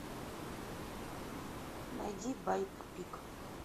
найди байопик